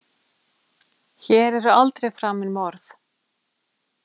Hér eru aldrei framin morð.